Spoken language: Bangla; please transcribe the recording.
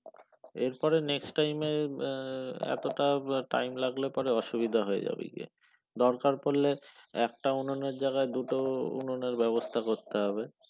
এরপরে next time এ এতটা time লাগলে পরে অসুবিধা হয়ে যাবে গিয়ে দরকার পড়লে একটা উনুনের জায়গায় দুটো উনানের ব্যবস্থা করতে হবে।